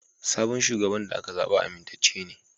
Sabon shugaban da aka zaɓa amintacce ne.